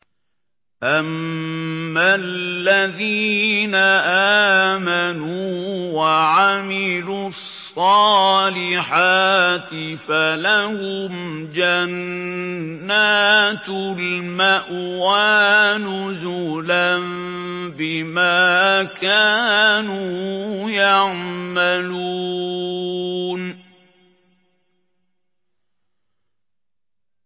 أَمَّا الَّذِينَ آمَنُوا وَعَمِلُوا الصَّالِحَاتِ فَلَهُمْ جَنَّاتُ الْمَأْوَىٰ نُزُلًا بِمَا كَانُوا يَعْمَلُونَ